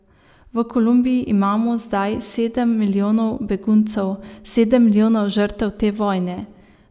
V Kolumbiji imamo zdaj sedem milijonov beguncev, sedem milijonov žrtev te vojne.